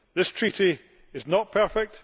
This Treaty is not perfect.